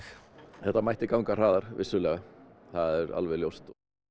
þetta mætti ganga hraðar vissulega það er alveg ljóst